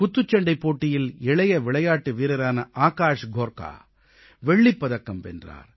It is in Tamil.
குத்துச்சண்டைப் போட்டியில் இளைய விளையாட்டு வீரரான ஆகாஷ் கோர்க்கா வெள்ளிப்பதக்கம் வென்றார்